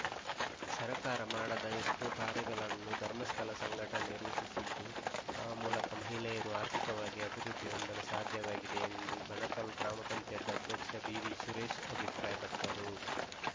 ಸರ್ಕಾರ ಮಾಡದ ಎಷ್ಟೋ ಕಾರ್ಯಗಳನ್ನು ಧರ್ಮಸ್ಥಳ ಸಂಘಟನೆ ರೂಪಿಸಿದ್ದು ಆ ಮೂಲಕ ಮಹಿಳೆಯರು ಆರ್ಥಿಕವಾಗಿ ಅಭಿವೃದ್ಧಿ ಹೊಂದಲು ಸಾಧ್ಯವಾಗಿದೆ ಎಂದು ಬಣಕಲ್‌ ಗ್ರಾಮ ಪಂಚಾಯತ್ ಅಧ್ಯಕ್ಷ ಬಿವಿಸುರೇಶ್‌ ಅಭಿಪ್ರಾಯಪಟ್ಟರು